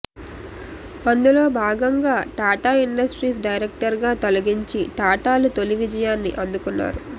అందులోభాగంగా Tata industries డైరెక్టర్గా తొలగించి టాటాలు తొలి విజయాన్ని అందుకున్నారు